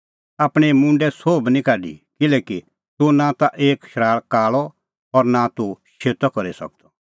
आपणैं मुंडे सोह बी निं काढी किल्हैकि तूह नां ता एक शराल़ काल़अ और नां ता तूह शेतअ करी सकदअ